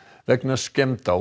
vegna skemmda á